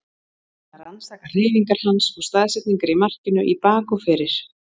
Búinn að rannsaka hreyfingar hans og staðsetningar í markinu í bak og fyrir.